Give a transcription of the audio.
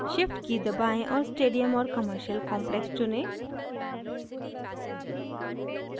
shift की दबाएं और stadium और commercial complex चुनें